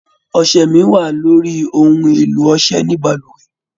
Ọṣẹ mí wá loyri ohùn èlò ọṣẹ ní balùwẹ̀.